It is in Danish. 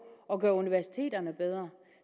at gøre universiteterne bedre